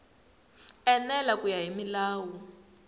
enela ku ya hi milawu